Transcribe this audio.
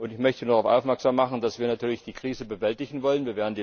Ich möchte darauf aufmerksam machen, dass wir natürlich die Krise bewältigen wollen.